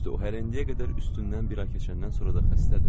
Düzdür, o hələ indiyə qədər üstündən bir ay keçəndən sonra da xəstədir.